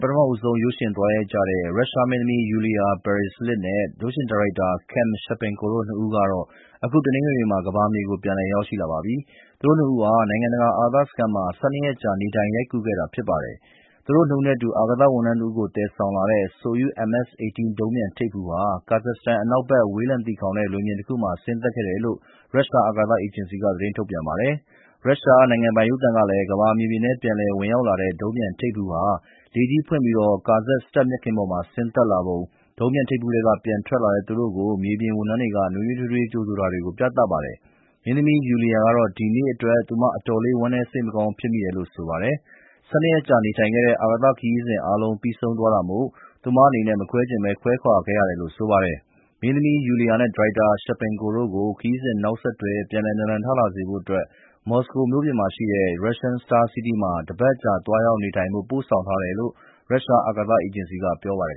ပထမဦးဆုံး ရုပ်ရှင်သွားရိုက်ကြတဲ့ ရုရှားမင်းသမီး Yulia Peresild နဲ့ ရုပ်ရှင်ဒါရိုက်တာ Klim Shipenko တို့ နှစ်ဦးကတော့ အခုတနင်္ဂနွေမှာ ကမ္ဘာမြေကို ပြန်လည်ရောက်ရှိလာပါပြီ။ သူတို့နှစ်ဦးဟာ နိုင်ငံတကာ အာကာသစခန်းမှာ ၁၂ ရက်ကြာ နေထိုင်ရိုက်ကူးခဲ့တာ ဖြစ်ပါတယ်။ သူတို့နှစ်ဦးနဲ့အတူ အာကာသဝန်ထမ်းတဦးကို သယ်ဆောင်ပြီး ဆိုယု MS-18 ဒုံးပျံထိပ်ဖူးဟာ ကာဇက်စတန် အနောက်ဘက် ဝေးလံသီခေါင်တဲ့ လွင်ပြင်တခုမှာ ဆင်းသက်ခဲ့တယ်လို့ ရုရှား အာကာသအေဂျင်စီက သတင်းထုတ်ပြန်ပါတယ်။ ရုရှားနိုင်ငံပိုင်ရုပ်သံကလည်း ကမ္ဘာမြေပြင်ထဲ ပြန်လည်ဝင်ရောက်လာတဲ့ ဒုံးပျံထိပ်ဖူးဟာ လေထီးဖွင့်ပြီး ကာဇက်စတန် မြက်ခင်းပေါ် ဆင်းသက်လာပုံ၊ ဒုံးပျံထိပ်ဖူးထဲက ပြန်ထွက်လာတဲ့ သူတို့ကို မြေပြင်ဝန်ထမ်းတွေက သူတို့ကို နွေးနွေးထွေးထွေး ကြိုဆိုတာတွေကို ပြသပါတယ်။ မင်းသမီး Yulia ကတော့ ဒီနေ့အတွက် သူမ အတော်လေး ဝမ်းနည်း စိတ်မကောင်းဖြစ်မိတယ်လို့ ဆိုပါတယ်။ ၁၂ ရက်ကြာ နေထိုင်ခဲ့တဲ့ အာကာသခရီးစဉ်အားလုံး ပြီးဆုံးသွားတာမို့ သူမအနေနဲ့ မခွဲချင်ဘဲ ခွဲခွာခဲ့ရတယ်လို့ ဆိုပါတယ်။ မင်းသမီး Yulia နဲ့ ဒါရိုက်တာ Shipenko တို့ကို ခရီးစဉ်နောက်ဆက်တွဲ ပြန်လည်နာလန်ထလာစေဖို့အတွက် မော်စကိုမြို့ပြင်မှာရှိတဲ့ Russian Star City မှာ တပတ်အကြာ သွားရောက်နေထိုင်ဖို့ ပို့ဆောင်ထားတယ်လို့ ရုရှား အာကာသအေဂျင်စီက ပြောပါတယ်